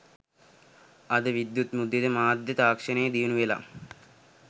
අද විද්‍යුත් මුද්‍රිත මාධ්‍ය තාක්ෂණය දියුණු වෙලා